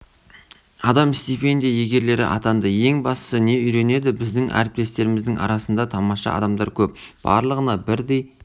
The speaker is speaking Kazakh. адам стипендия иегерлері атанды ең бастысы не үйренеді біздің әріптестеріміздің арасында тамаша адамдар көп барлығына бірдей